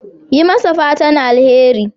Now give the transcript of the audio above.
Yi masa fatan alheri.